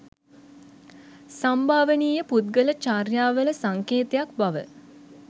සම්භාවනීය පුද්ගල චර්යාවල සංකේතයක් බව